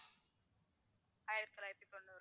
ஆயிரத்தி தொள்ளாயிரத்தி தொண்ணூறு